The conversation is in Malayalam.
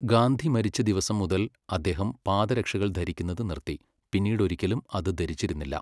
ഗാന്ധി മരിച്ച ദിവസം മുതൽ അദ്ദേഹം പാദരക്ഷകൾ ധരിക്കുന്നത് നിർത്തി, പിന്നീടൊരിക്കലും അത് ധരിച്ചിരുന്നില്ല.